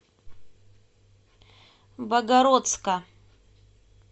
богородска